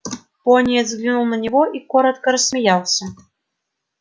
пониетс взглянул на него и коротко рассмеялся